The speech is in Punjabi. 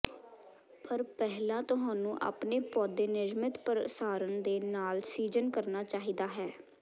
ਪਰ ਪਹਿਲਾਂ ਤੁਹਾਨੂੰ ਆਪਣੇ ਪੌਦੇ ਨਿਯਮਤ ਪ੍ਰਸਾਰਣ ਦੇ ਨਾਲ ਸੀਜ਼ਨ ਕਰਨਾ ਚਾਹੀਦਾ ਹੈ